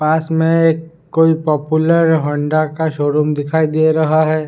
पास में एक कोई पॉपुलर हौंडा का शोरूम दिखाई दे रहा है।